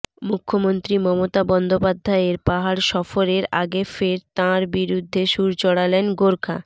মুখ্যমন্ত্রী মমতা বন্দ্যোপাধ্যায়ের পাহাড় সফরের আগে ফের তাঁর বিরুদ্ধে সুর চড়ালেন গোর্খা